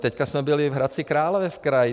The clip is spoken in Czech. Teď jsme byli v Hradci Králové v kraji.